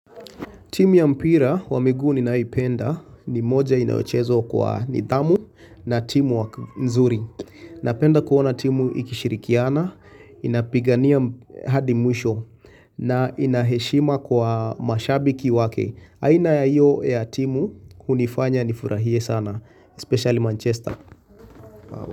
Timu ya mpira wa miguu ninayopenda ni moja inayacheza kwa nidhamu na teamwork nzuri. Napenda kuona timu ikishirikiana, inapigania hadi mwisho na inaheshima kwa mashabiki wake. Aina ya iyo ya timu kunifanya nifurahie sana, especially Manchester.